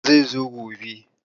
Maƙeri zai zo gobe.